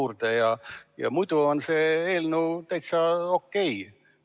on see eelnõu täitsa okei.